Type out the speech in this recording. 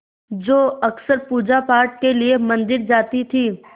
जो अक्सर पूजापाठ के लिए मंदिर जाती थीं